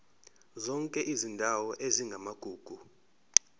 zonke izindawo ezingamagugu